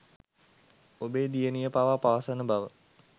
ඔබේ දියණිය පවා පවසන බව